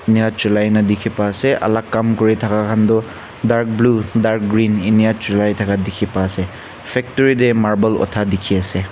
Enika chulai na dekhi pa ase alak kam kuri thaka khan toh dark blue dark green ena chulai thaka dekhi pa ase factory tey marble utha dekhi ase.